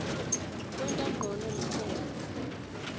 kwenta ncono likhono